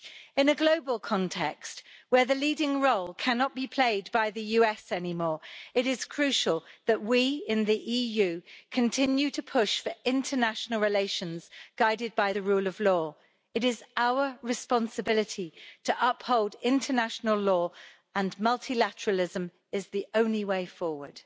In a global context, where the leading role cannot be played by the US anymore, it is crucial that we in the EU continue to push for international relations guided by the rule of law. It is our responsibility to uphold international law, and multilateralism is the only way forward.